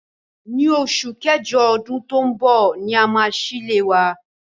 Ní osù kẹ́jọ odún to n bò ni a máa sílé wa